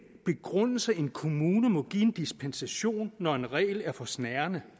begrundelser en kommune må give en dispensation når en regel er for snærende